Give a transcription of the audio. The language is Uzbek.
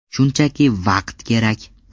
Shunchaki vaqt kerak.